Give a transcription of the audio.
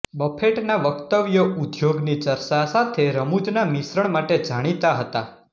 બફેટના વક્તવ્યો ઉદ્યોગની ચર્ચા સાથે રમૂજના મિશ્રણ માટે જાણીતા હતા